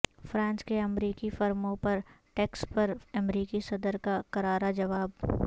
France کے امریکی فرموں پر ٹیکس پر امریکی صدر کا کرارا جواب